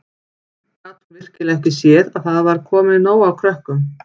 Gat hún virkilega ekki séð að það var komið nóg af krökkum?